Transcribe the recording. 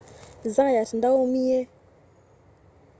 zayat ndaaumia